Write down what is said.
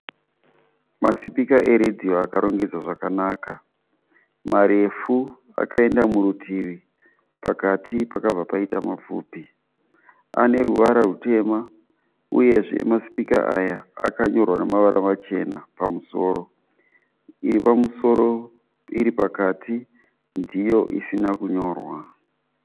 Masipika eredhiyo akarongedzwa zvakanaka. Marefu akaenda murutivi, pakati pakabva paita mapfupi. Ane ruvara rutema uyezve masipika aya akanyorwa namavara machena pamusoro. Iri pamusoro iri pakati ndiyo isina kunyorwa.